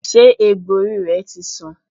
Ṣé egbò orí rẹ ti san?